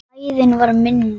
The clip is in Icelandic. Æðin var minni.